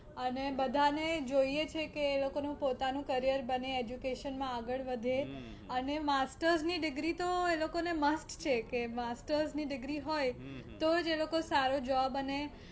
અને બધાને જોઈએ છીએ કે એ લોકો નું પોતાનું career બને education માં આગળ વધે અને masters ની degree તો એ લોકો ને must છે કે masters ની degree હોય તો જ એ લોકો સારું Job અને